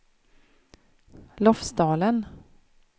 Lofsdalen